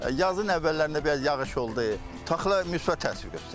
Yazın əvvəllərində biraz yağış oldu, taxıla müsbət təsir göstərdi.